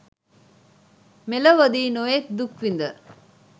මෙලොවදී නොයෙක් දුක්විඳ